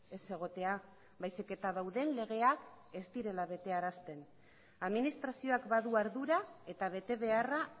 ez egotea baizik eta dauden legeak ez direla betearazten administrazioak badu ardura eta betebeharra